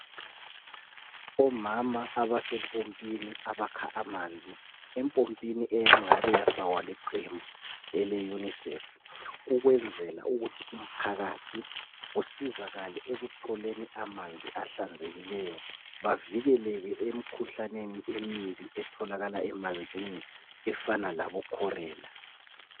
Omama abasempompini abakha amanzi. Empompini eyangabe yafakwa liqembu ele UNICEF ukwenzela ukuthi umphakathi usizakale ekutholeni amanzi ahlanzekileyo, bavikelekele emikhuhlaneni emibi etholakala emanzini efana labo Chorela